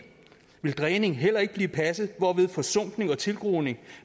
vil dræning heller ikke blive passet hvorved forsumpning og tilgroning